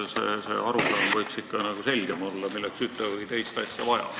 See arusaam võiks ikka selgem olla, milleks ühte või teist asja vaja on.